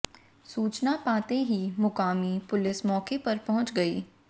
सूचना पाते ही मुकामी पुलिस मौके पर पहुंच गयी